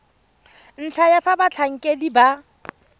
ntlha ya fa batlhankedi ba